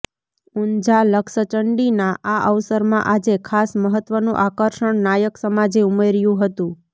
ઊંઝા લક્ષચંડીના આ અવસરમાં આજે ખાસ મહત્વનું આકર્ષણ નાયક સમાજે ઉમેર્યું હતું